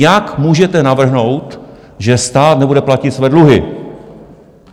Jak můžete navrhnout, že stát nebude platit své dluhy?